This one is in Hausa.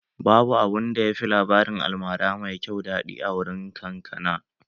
Babu abunda yafi labarin almara mai kyau daɗi a wurin kakana